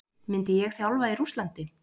Myndi ég þjálfa í Rússlandi?